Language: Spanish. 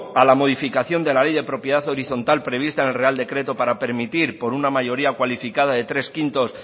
a la modificación de la ley de propiedad horizontal prevista en el real decreto para permitir por una mayoría cualificada de tres barra cinco